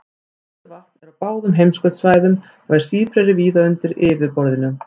Frosið vatn er á báðum heimskautasvæðunum og er sífreri víða undir yfirborðinu.